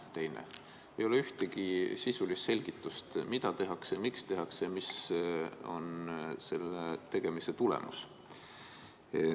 Teil ei ole ühtegi sisulist selgitust, mida tehakse ja miks tehakse ja mis on selle tegemise tulemus.